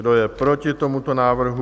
Kdo je proti tomuto návrhu?